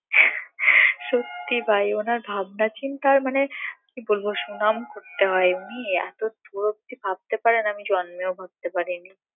সত্যি ভাই ওনার ভাবনাচিন্তা মানে কি বলবো সুনাম করতে হয় উনি এত দূর অব্দি ভাবতে পারেন আমি জন্মেও ভাবতে পারিনি